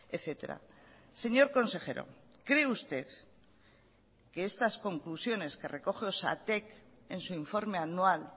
etcétera señor consejero cree usted que estas conclusiones que recoge osatek en su informe anual